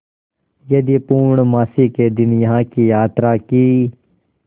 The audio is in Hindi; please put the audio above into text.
यदि पूर्णमासी के दिन यहाँ की यात्रा की